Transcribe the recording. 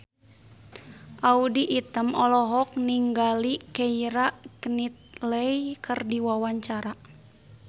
Audy Item olohok ningali Keira Knightley keur diwawancara